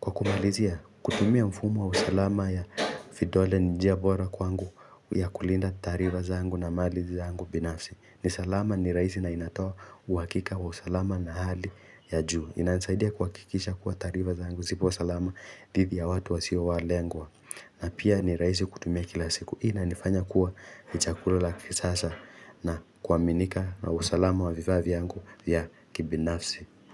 Kwa kumalizia, kutumia mfumo wa usalama ya vidole ni njia bora kwangu ya kulinda taarifa zangu na mali zangu binafsi ni salama ni raisi na inatoa uwakika wa usalama na hali ya juu inanisaidia kuwakikisha kuwa taarifa zaangu zipo salama dhidi ya watu wasio walengwa na pia ni raisi kutumia kila siku hii Inanifanya kuwa ichakulula kisasa na kuaminika na usalama wa vifaa vyangu vya kibinafsi.